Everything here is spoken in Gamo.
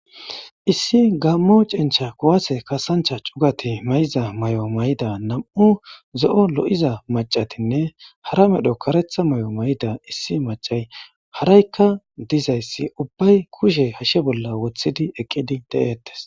issi gammo cincha kuwase kasancha cugati may7iza may7o may7ida nam7u zo7o lo7iza macatinne hara medho karetha may7o may7ida issi macay haraykka dizayssi ubbay kushe hashe bolla wothidi eqqidi de7ettes